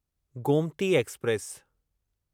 Gomti express